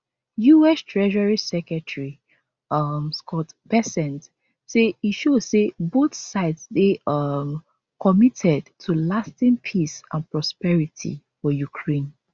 us treasury secretary um scott bessent say e show say both sides dey um committed to lasting peace and prosperity for ukraine